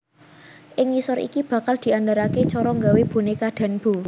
Ing ngisor iki bakal diandharake cara nggawé boneka Danbo